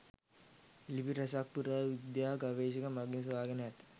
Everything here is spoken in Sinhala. ලිපි රැසක් පුරා විද්‍යා ගවේශණ මගින් සොයගෙන ඇත.